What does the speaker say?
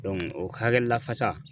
o hakɛ lafasa